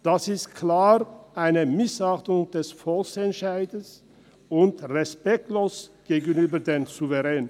Dies ist eine klare Missachtung des Volksentscheids und respektlos gegenüber dem Souverän.